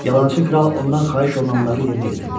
Yalançı kral ondan xahiş olunanları yerinə yetirdi.